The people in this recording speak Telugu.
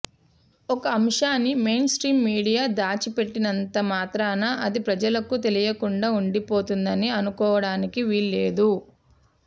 ఒక అంశాన్ని మెయిన్ స్ట్రీమ్ మీడియా దాచిపెట్టినంత మాత్రాన అది ప్రజలకు తెలియకుండా ఉండిపోతుందని అనుకోవడానికి వీల్లేదు